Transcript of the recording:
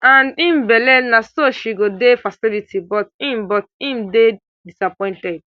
and im belle na so she go di facility but im but im dey disappointed